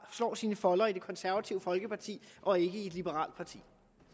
slår sine folder i det konservative folkeparti og ikke i et liberalt parti